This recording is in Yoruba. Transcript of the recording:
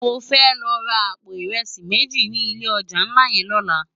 Mó fè lò rá àpó irèsi méji ni ilé òjá nlá yèn lòlá